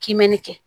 K'i mɛɛnni kɛ